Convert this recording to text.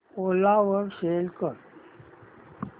ओला वर सेल कर